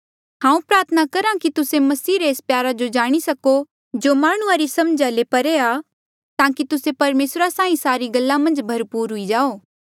हांऊँ प्रार्थना करहा कि तुस्से मसीह रे एस प्यारा जो जाणी सको जो माह्णुंआं री समझा ले परे आ ताकि तुस्से परमेसरा साहीं सारी गल्ला मन्झ भरपूर हुई जाओ